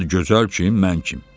Adıgözəl kim, mən kim?